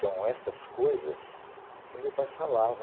São essas coisas que meu pai falava.